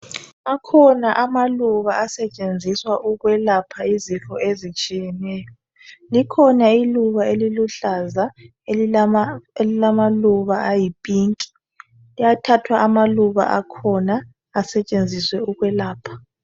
Akhona amaluba asetshenziswa ukulapha izifo ezitshiyeneyo likhona iluba eliluhlaza elilama luba ayi pink liyathathwa amaluba akhona asetshenziswe ukwelapha